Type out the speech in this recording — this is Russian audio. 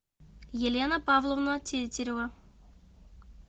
елена павловна тетерева